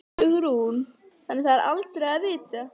Hugrún: Þannig það er aldrei að vita?